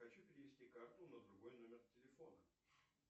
хочу перевести карту на другой номер телефона